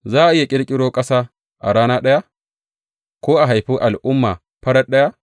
Za a iya ƙirƙiro ƙasa a rana ɗaya ko a haifi al’umma farat ɗaya?